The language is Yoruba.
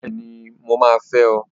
Bẹ́ẹ̀ni! Mo máa fẹ́ ọ!